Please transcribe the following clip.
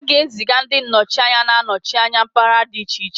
A ga-eziga ndi nọchi anya ga-anọchi anya mpaghara dị iche iche